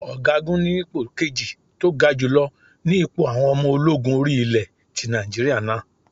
Ọ̀gá gun ni ipò kejì tó ga jùlọ ni ipò àwọn ọmọ ológun orí ilé ti Nàìjíríà náà.